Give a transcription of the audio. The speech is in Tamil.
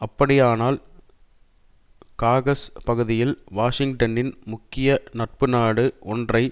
அப்படியானால் காகசஸ் பகுதியில் வாஷிங்டனின் முக்கிய நட்பு நாடு ஒன்றை